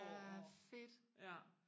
ja fedt